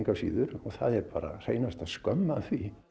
og það er bara hreinasta skömm af því